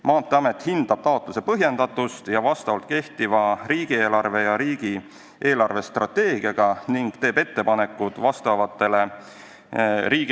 Maanteeamet hindab taotluse põhjendatust ja kehtivale riigi eelarvestrateegiale vastavust ning teeb ettepanekud riigieelarve võimalustest lähtudes.